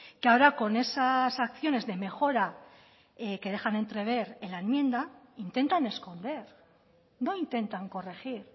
que ahora con esas acciones de mejora que dejan entrever en la enmienda intentan esconder no intentan corregir